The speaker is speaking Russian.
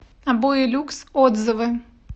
обои люкс отзывы